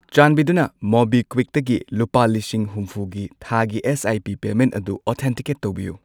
ꯆꯥꯟꯕꯤꯗꯨꯅ ꯃꯣꯕꯤꯀ꯭ꯋꯤꯛꯇꯒꯤ ꯂꯨꯄꯥ ꯂꯤꯁꯤꯡ ꯍꯨꯝꯐꯨꯒꯤ ꯊꯥꯒꯤ ꯑꯦꯁ.ꯑꯥꯏ.ꯄꯤ. ꯄꯦꯃꯦꯟꯠ ꯑꯗꯨ ꯑꯣꯊꯦꯟꯇꯤꯀꯦꯠ ꯇꯧꯕꯤꯌꯨ꯫